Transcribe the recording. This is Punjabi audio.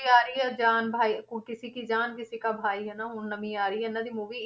ਆ ਰਹੀ ਆ ਜਾਨ ਭਾਈ ਉਹ ਕਿਸੀ ਕੀ ਜਾਨ ਕਿਸਾ ਕਾ ਭਾਈ ਹਨਾ, ਹੁਣ ਨਵੀਂ ਆ ਰਹੀ ਹੈ ਇਹਨਾਂ ਦੀ movie